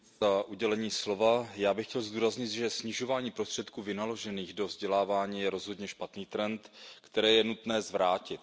Paní předsedající, já bych chtěl zdůraznit, že snižování prostředků vynaložených do vzdělávání je rozhodně špatný trend, který je nutno zvrátit.